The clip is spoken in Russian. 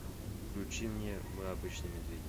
включи мне мы обычные медведи